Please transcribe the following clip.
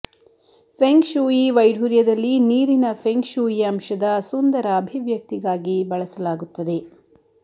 feng shui ವೈಡೂರ್ಯದಲ್ಲಿ ನೀರಿನ feng shui ಅಂಶದ ಸುಂದರ ಅಭಿವ್ಯಕ್ತಿಗಾಗಿ ಬಳಸಲಾಗುತ್ತದೆ